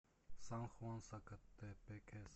сан хуан сакатепекес